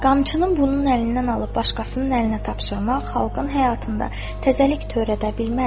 Qamçının bunun əlindən alıb başqasının əlinə tapşırmaq xalqın həyatında təzəlik törədə bilməz.